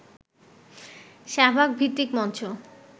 শাহবাগ-ভিত্তিক মঞ্চ